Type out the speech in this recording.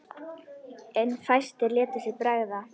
En fæstir létu sér bregða.